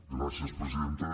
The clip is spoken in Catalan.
gràcies presidenta